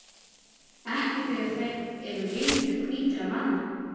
Ekki þegar þeir eru vinir hvítra manna.